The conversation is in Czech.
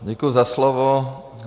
Děkuji za slovo.